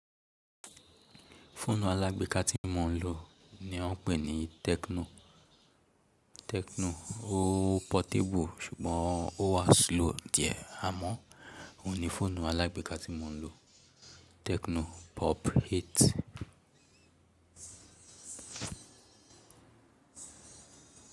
Fóònù alágbèéká tí mò ń lò ni wọ́n pè ní Tecno. Tecno ó portable ṣùgbọ́n ó wa slow díẹ̀. Àmọ́ òhun ni fóònù alágbèéká tí mò ń lò, Tecno Pop Eight.